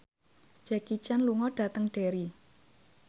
Jackie Chan lunga dhateng Derry